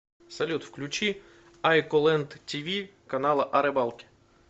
салют включи айколэнд ти ви канала о рыбалке